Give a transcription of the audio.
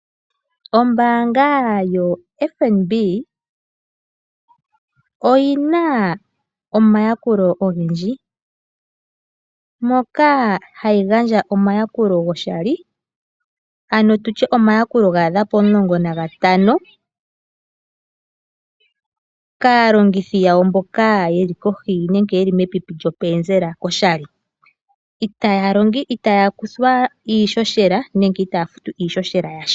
Ombaanga yoFNB oyina omayakulo ogendji, moka hayi gandja omayakulo goshali ano tutye omayakulo gaadha pomulongo nagatano kaalongithi yawo mboka yeli kohi nenge mepipi lyopenzela koshali. Itaya kuthwa nenge itaya futu iishoshela yasha.